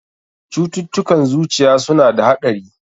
Cututtukan zuciya suna da haɗari.